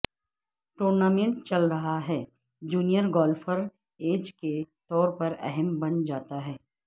tournament چل رہا ہے جونیئر گولففر ایج کے طور پر اہم بن جاتا ہے